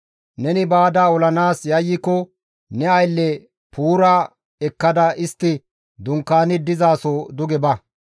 Neni baada olanaas yayyiko ne aylle Puura nenara ekkada istti dunkaani dizaso duge ba;